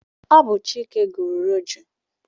Ọ bụ Chike gụrụ Roju.